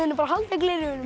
bara halda gleraugunum